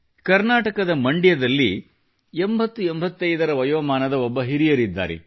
ಕರ್ನಾಟಕದ ಮಂಡ್ಯದಲ್ಲಿ 8085 ವಯೋಮಾನದ ಒಬ್ಬ ಹಿರಿಯರಿದ್ದಾರೆ